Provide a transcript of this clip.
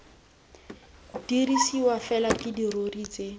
dirisiwa fela ke dirori tse